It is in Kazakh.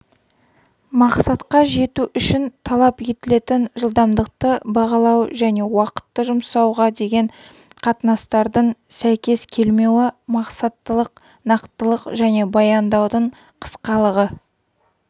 мақсатқа жету үшін талап етілетін жылдамдықты бағалау және уақытты жұмсауға деген қатынастардың сәйкес келмеуі мақсаттылық нақтылық және баяндаудың қысқалығы